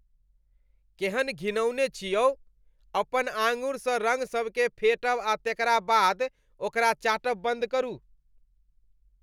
केहन घिनाओन छी यौ? अपन आङ्गुरसँ रङ्ग सबकेँ फेँटब आ तेकरा बाद ओकरा चाटब बन्द करू।